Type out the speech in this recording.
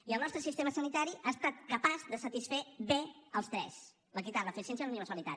i el nostre sistema sanitari ha estat capaç de satisfer bé els tres l’equitat l’eficiència i la universalitat